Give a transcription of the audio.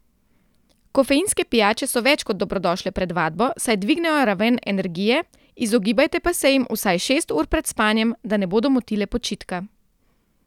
Kofeinske pijače so več kot dobrodošle pred vadbo, saj dvignejo raven energije, izogibajte pa se jim vsaj šest ur pred spanjem, da ne bodo motile počitka.